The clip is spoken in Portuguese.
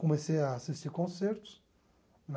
Comecei a assistir concertos